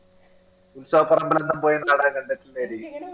ഉത്സാഹ